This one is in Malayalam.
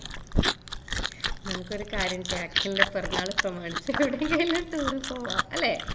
നമുക്കൊരു കാര്യം ചെയ്യാം അഖിലിന്റെ പിറന്നാൾ പ്രമാണിച്ച് എവിടെയെങ്കിലും ഒരു tour പോവാം അല്ലേ